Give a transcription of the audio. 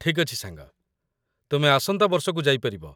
ଠିକ୍ ଅଛି, ସାଙ୍ଗ, ତୁମେ ଆସନ୍ତା ବର୍ଷକୁ ଯାଇ ପାରିବ